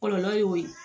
Kɔlɔlɔ y'o ye